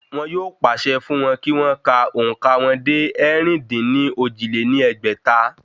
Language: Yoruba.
Wọn yóò pàṣẹ fún wọn kí wọ́n ka òǹkà wọn dé ẹ̀rin-dín-ní-ojì lé ní ẹgbẹ́ta?